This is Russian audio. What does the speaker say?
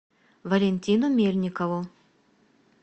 валентину мельникову